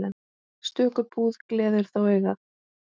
Stöku búð gleður þó augað.